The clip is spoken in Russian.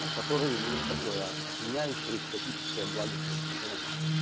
от которой ну вот такое опьяняющее экстатическое благостное состояние